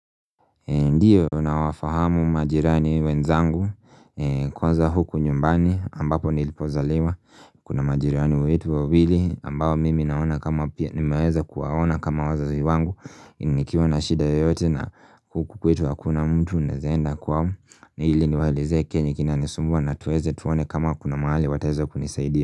Ndio nawafahamu majirani wenzangu kwanza huku nyumbani ambapo nilipozaliwa Kuna majirani wetu wa wili ambao mimi naona kama pia nimeweza kuwaona kama wazazi wangu nikiwa na shida yoyote na huku kwetu hakuna mtu naeza enda kwao ili niwaeleze kenye kinanisumbua na tuweze tuone kama kuna mahali wataweza kunisaidia.